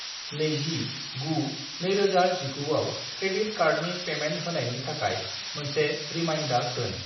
20-9-2019 आव क्रेडिट कार्डनि पेमेन्ट होनायनि थाखाय मोनसे रिमाइन्डार दोन।